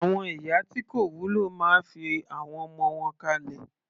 Àwọn ìyá tí kò wúlò máa fi àwọn ọmọ wọn kalẹ̀.